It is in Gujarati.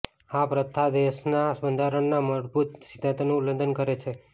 આ પ્રથા દેશના બંધારણના મૂળભૂત સિદ્ધાંતોનું ઉલ્લંઘન કરે છે